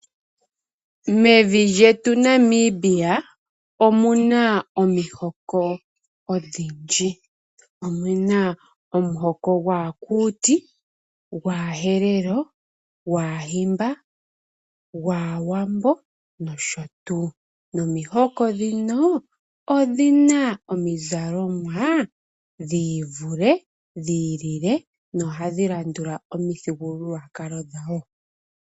Mevi lyetu naNamibia omu na omihoko odhindji. Omu na omuhoko gwaAkuuti, gwaAherero, gwaAhimba gwaAawambo nosho tuu, nomihoko dhino odhina omizalomwa dhiivule, dhiilile, na ohadhi landula omithigululwakalo dhawo.